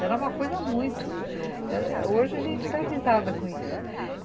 Era uma coisa muito... Hoje a gente dá risada com isso.